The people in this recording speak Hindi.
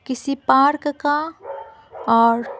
किसी पार्क का और--